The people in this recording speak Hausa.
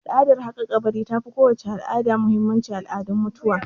Al'adar haƙa kabari ta fi kowace al'ada muhimmanci a al'adun mutuwa